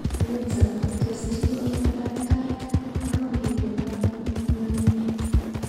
Alexa, tesyi olelaldai tait, korom kekerta eng ng'weny yu.